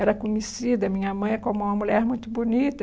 Era conhecida, minha mãe, como uma mulher muito bonita.